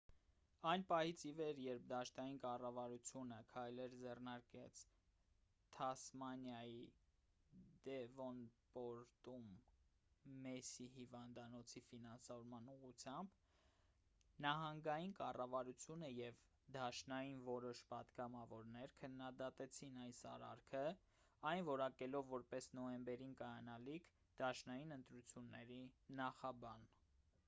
այն պահից ի վեր երբ դաշնային կառավարությունը քայլեր ձեռնարկեց թասմանիայի դեվոնպորտում մերսի հիվանդանոցի ֆինանսավորման ուղղությամբ նահանգային կառավարությունը և դաշնային որոշ պատգամավորներ քննադատեցին այս արարքը այն որակելով որպես նոյեմբերին կայանալիք դաշնային ընտրությունների նախաբան